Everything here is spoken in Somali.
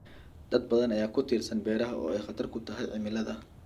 Dad badan ayaa ku tiirsan beeraha oo ay khatar ku tahay cimilada.